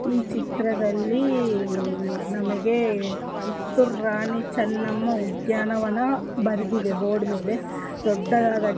E ಚಿತ್ರದಲ್ಲೀ ನಮಗೇ ಕಿತ್ತುರರಣಿ ಚನ್ನಮ್ಮ ಉದ್ಯಾನವನ ಬರೆದಿದೆ ಬೋರ್ಡ್ ಮೇಲೆ ದೊಡ್ಡದಾದ--